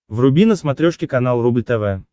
вруби на смотрешке канал рубль тв